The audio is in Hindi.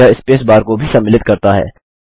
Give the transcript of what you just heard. यह स्पेस बार को भी सम्मिलित करता है